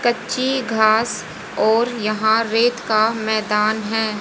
कच्ची घास और यहां रेत का मैदान है।